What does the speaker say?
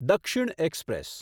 દક્ષિણ એક્સપ્રેસ